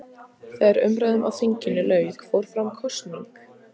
Þegar umræðum á þinginu lauk fór fram kosning.